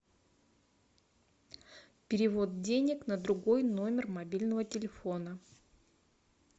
перевод денег на другой номер мобильного телефона